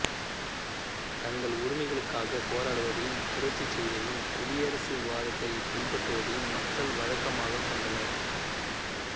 தங்கள் உரிமைகளுக்காகப் போராடுவதையும் புரட்சி செய்வதையும் குடியரசுவாதத்தைப் பின்பற்றுவதையும் மக்கள் வழக்கமாகக் கொண்டனர்